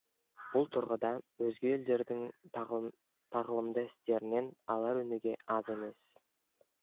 бұл тұрғыда өзге елдердің тағылымды істерінен алар өнеге аз емес